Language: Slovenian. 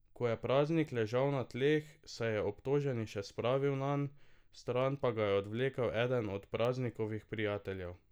Ko je Praznik ležal na tleh, se je obtoženi še spravil nanj, stran pa ga je odvlekel eden od Praznikovih prijateljev.